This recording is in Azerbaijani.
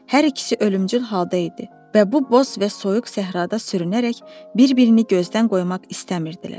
Hər ikisi ölümcül halda idi və bu boş və soyuq səhrada sürünərək bir-birini gözdən qoymaq istəmirdilər.